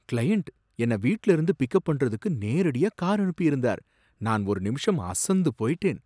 Client என்னை வீட்ல இருந்து பிக்அப் பண்றதுக்கு நேரடியா கார் அனுப்பியிருந்தார், நான் ஒரு நிமிஷம் அசந்து போயிட்டேன்.